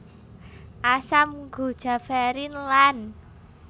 Asam guajaverin lan